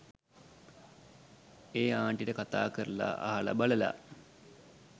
ඒ ආන්ටිට කතා කරලා අහලා බලලා